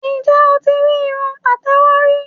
Ǹjẹ́ o ti rí irun pàtẹ́wọ́ rí?